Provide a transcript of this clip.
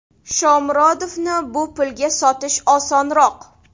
Shomurodovni bu pulga sotish osonroq.